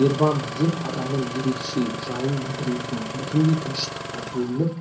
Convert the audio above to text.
нирвана деп адамның ерекше жайын білдіретін бүтіндей тыныштыққа бөленіп